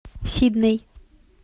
сидней